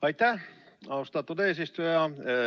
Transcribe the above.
Aitäh, austatud eesistuja!